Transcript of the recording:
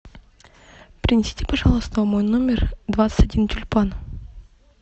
принесите пожалуйста в мой номер двадцать один тюльпан